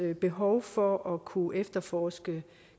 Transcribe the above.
behov for at kunne efterforske